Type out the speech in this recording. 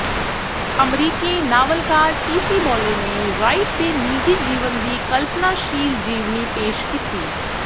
ਅਮਰੀਕੀ ਨਾਵਲਕਾਰ T C Boyle ਨੇ ਰਾਈਟ ਦੇ ਨਿੱਜੀ ਜੀਵਨ ਦੀ ਕਲਪਨਾਸ਼ੀਲ ਜੀਵਨੀ ਪੇਸ਼ ਕੀਤੀ